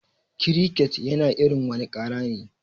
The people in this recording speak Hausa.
Kiriket yana wani irin kara ne.